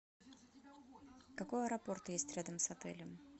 какой аэропорт есть рядом с отелем